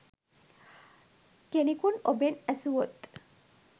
කෙනෙකුන් ඔබෙන් ඈසුවොත්